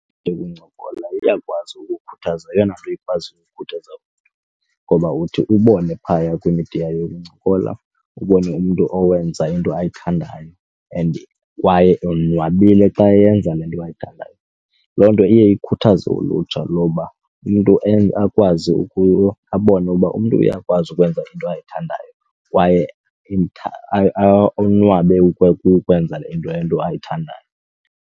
Into yokuncokola iyakwazi ukukhuthaza yeyona nto ikwaziyo ukukhuthaza ngoba uthi ubone phaya kwimidiya yokuncokola ubone umntu owenza into ayithandayo and kwaye onwabile xa eyenza le nto ayithandayo. Loo nto iye ikhuthaze ulutsha loba umntu akwazi ukuba abone uba umntu uyakwazi ukwenza into ayithandayo kwaye onwabe ukwenza into ayithandayo.